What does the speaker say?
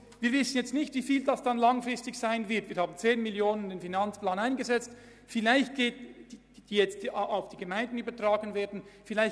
Wir wissen nicht, um wie viel Geld es langfristig gehen wird, wir haben 10 Mio Franken im Finanzplan eingesetzt, die auf die Gemeinden übertragen werden sollen.